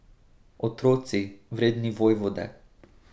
Otroci, vredni vojvode.